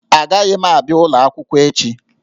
Agaghị m abịa ụlọ akwụkwọ echi